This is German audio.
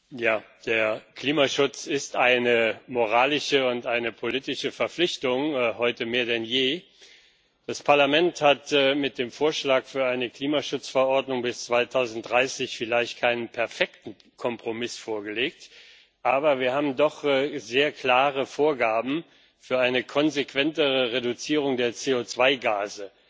Herr Präsident! Der Klimaschutz ist eine moralische und eine politische Verpflichtung heute mehr denn je. Das Parlament hat mit dem Vorschlag für eine Klimaschutzverordnung bis 2030 vielleicht keinen perfekten Kompromiss vorgelegt, aber wir haben doch sehr klare Vorgaben für eine konsequentere Reduzierung der CO2-Gase,